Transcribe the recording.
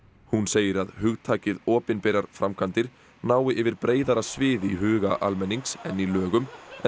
hún segir að hugtakið opinberar framkvæmdir nái yfir breiðara svið í huga almennings en í lögum en